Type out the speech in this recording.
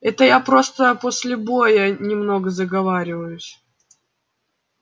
это я просто после боя немного заговариваюсь